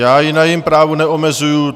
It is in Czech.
Já ji na jejím právu neomezuji.